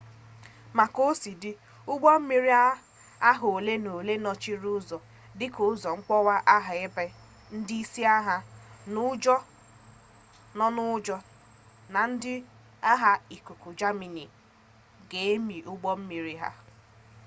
ma ka o si dị ụgbọ mmiri agha ole m'ole nọchiri ụzọ dị ka ụzọ mwakpo agha ebe ndị isi agha nọ n'ụjọ na ndị agha ikuku jamani ga emi ụgbọ mmiri ha